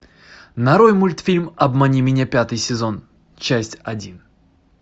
нарой мультфильм обмани меня пятый сезон часть один